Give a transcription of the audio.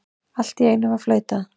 Allt í einu var flautað.